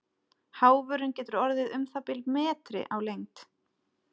Háfurinn getur orðið um það bil metri á lengd.